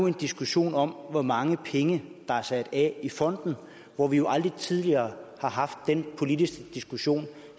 en diskussion om hvor mange penge der er sat af i fonden hvor vi jo aldrig tidligere har haft den politiske diskussion